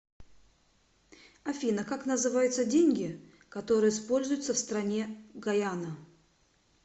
афина как называются деньги которые используются в стране гайана